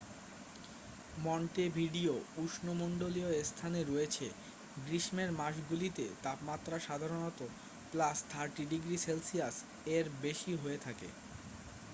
Montevideo উষ্ণমণ্ডলীয় স্থানে রয়েছে; গ্রীষ্মের মাসগুলিতে তাপমাত্রা সাধারণত +30°c এর বেশি হয়ে থাকে।